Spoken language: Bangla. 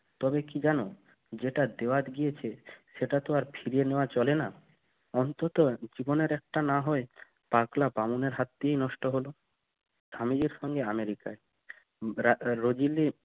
তবে কি জানো যেটা দেওয়ার দিয়েছে সেটা তো আর ফিরিয়ে নেওয়া চলে না অন্তত জীবনের একটা না হয় পাতলা বামনের হাত দিয়ে নষ্ট হল সঙ্গে America